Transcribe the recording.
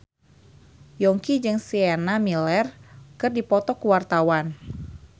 Yongki jeung Sienna Miller keur dipoto ku wartawan